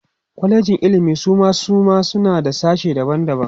kwalejin ilimi Suma suma suna da sashe daban daban